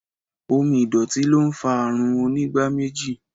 Omo ìdọ̀tí ló ń fa àrùn onígbáméjì